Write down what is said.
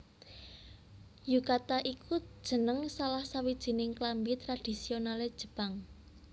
Yukata iku jeneng salah sawijining klambi tradhisionalé Jepang